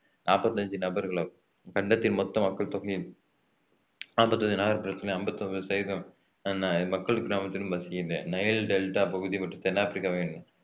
நாற்பத்தி அஞ்சு நபர்களும் கண்டத்தின் மொத்த மக்கள் தொகையின் நாற்பத்தி அஞ்சு நகர்புறத்திலும் ஐம்பத்தி ஒன்பது சதவீதம் மக்கள் கிராமத்திலும் வசிக்கின்ற~ நைல் டெல்டா பகுதி மற்றும் தென் ஆப்பிரிக்காவின்